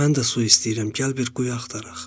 Mən də su istəyirəm, gəl bir quyu axtaraq.